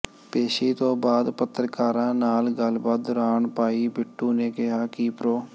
ਪੇਸ਼ੀ ਤੋਂ ਬਾਅਦ ਪੱਤਰਕਾਰਾਂ ਨਾਲ ਗੱਲਬਾਤ ਦੌਰਾਨ ਭਾਈ ਬਿੱਟੂ ਨੇ ਕਿਹਾ ਕਿ ਪ੍ਰੋ